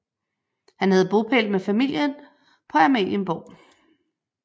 Han havde bopæl med familie på Amalienborg